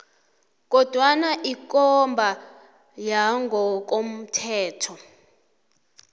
kodwana ikomba yangokomthetho